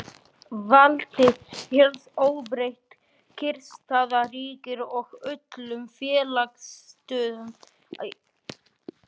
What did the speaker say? Valdið helst óbreytt, kyrrstaða ríkir og öllum félagslegum breytingum er haldið í skefjum.